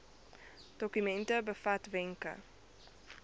dokument bevat wenke